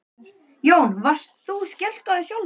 Jón: Varst þú skelkaður sjálfur?